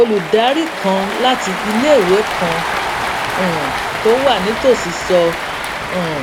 olùdarí kan láti iléìwé kan um tó wà nítòsí sọ um